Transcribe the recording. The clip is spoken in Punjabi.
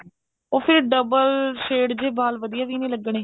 ਉਹ ਫੇਰ double shade ਜੇ ਵਾਲ ਵਧੀਆ ਵੀ ਨਹੀਂ ਲੱਗਣੇ